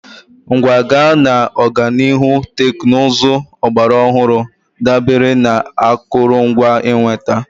Nkwaga na ọganihu teknụzụ ọgbara ọhụrụ dabere na akụrụngwa ịnweta.